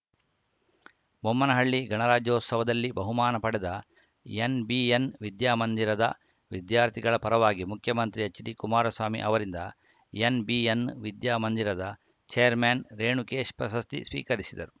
ಬೊಮ್ಮನಹಳ್ಳಿ ಗಣರಾಜ್ಯೋತ್ಸವದಲ್ಲಿ ಬಹುಮಾನ ಪಡೆದ ಎನ್‌ಬಿಎನ್‌ ವಿದ್ಯಾ ಮಂದಿರದ ವಿದ್ಯಾರ್ಥಿಗಳ ಪರವಾಗಿ ಮುಖ್ಯಮಂತ್ರಿ ಎಚ್‌ಡಿಕುಮಾರಸ್ವಾಮಿ ಅವರಿಂದ ಎನ್‌ಬಿಎನ್‌ ವಿದ್ಯಾ ಮಂದಿರದ ಛೇರ್ಮನ್‌ ರೇಣುಕೇಶ್‌ ಪ್ರಶಸ್ತಿ ಸ್ವೀಕರಿಸಿದರು